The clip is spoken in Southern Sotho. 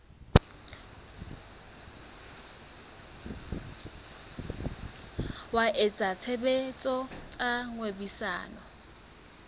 wa etsa tshebetso tsa kgwebisano